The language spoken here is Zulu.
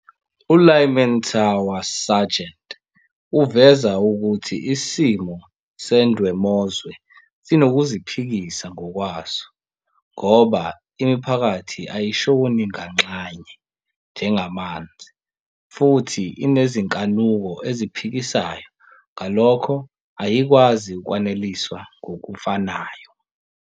ULyman Tower Sargent uveza ukuthi isimo sendwemozwe sinokuziphikisa ngokwaso ngoba imiphakathi ayishoni nganxanye njengamanzi futhi inezinkanuko eziphikisanayo ngalokho ayikwazi ukwaneliswa ngokufanayo.